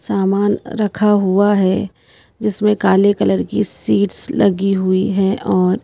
सामान रखा हुआ है जिसमें काले कलर की सीड्स लगी हुई हैं और--